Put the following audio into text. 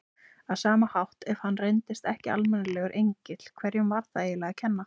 Á sama hátt, ef hann reyndist ekki almennilegur engill, hverjum var það eiginlega að kenna?